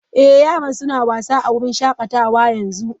Ee, yaran suna wasa a wurin shakatawa yanzu.